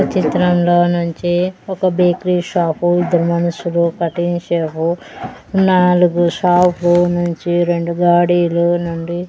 చిత్రంలో నుంచి ఒక బేకరీ షాపు ఇద్దరు మనుషులు కటింగ్ షేపు నాలుగు షాపు లు నుంచి రెండు గాడీలో నుండి.